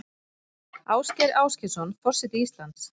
Ásgeir Ásgeirsson forseti Íslands